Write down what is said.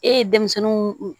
E ye denmisɛnninw